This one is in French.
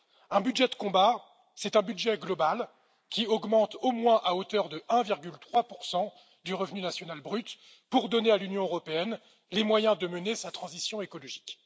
Un budget de combat, c'est un budget global qui augmente au moins à hauteur de 1,3 du revenu national brut pour donner à l'Union européenne les moyens de mener sa transition écologique.